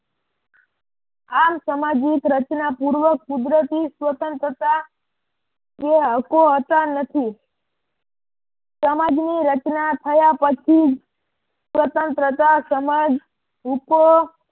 આમ સમાજની રચના પૂર્વ કુદરતી સ્વતંત્રતા કે હકો હોતા નથી સમાજ ની રચના થયા પછી સ્વતંત્રતા સમજ હૂકો